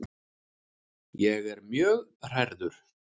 Ég er mjög hrærður.